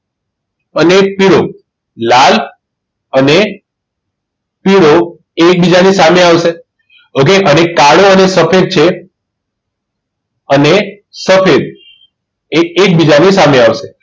અને પીળો લાલ અને પીળો એ એકબીજાની સામે આવશે okay અને કાળો અને સફેદ છે અને સફેદ એ એકબીજાની સામે આવશે